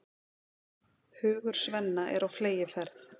Hugur Svenna er á fleygiferð.